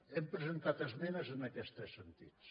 hem presentat esmenes en aquests tres sentits